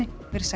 veriði sæl